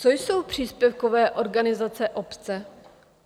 Co jsou příspěvkové organizace obce?